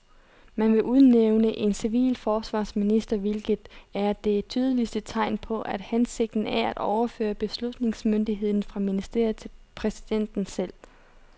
Man vil udnævne en civil forsvarsminister, hvilket er det tydeligste tegn på, at hensigten er at overføre beslutningsmyndigheden fra ministeriet til præsidenten selv.